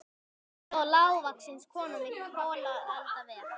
Þar stóð lágvaxin kona við kolaeldavél.